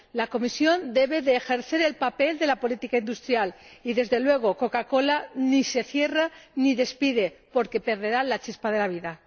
La Comisión debe ejercer el papel de la política industrial, y, desde luego, Coca Cola ni se cierra, ni despide, porque perderá la chispa de la vida.